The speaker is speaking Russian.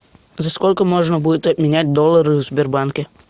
за сколько можно будет обменять доллары в сбербанке